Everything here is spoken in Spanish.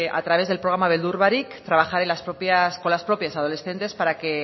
a través del programa beldur barik trabajar con las propias adolescentes para que